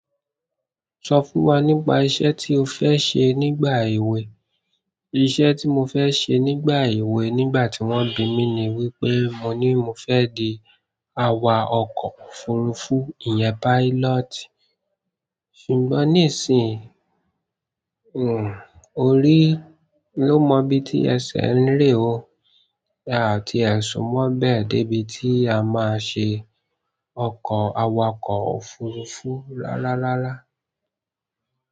Sọ fún wa nípa iṣẹ́ ti o fẹ se nígbà ewe. Iṣẹ́ tí mo fẹ́ ṣe nígbà èwe nígbà tí wọ́n bí mi ni wípé mo ní mo fẹ́ di awakọ̀ òfurufú, ìyẹn pilot. Ṣùgbọ́n nísìnyí, hmmm, orí ló mọ ibí ti ẹsẹ̀ ń re o. A tiẹ súnmọ́ bẹ́ẹ̀ dé bí tí a máa ṣe ọkọ̀ awakọ̀ òfurufú rararara.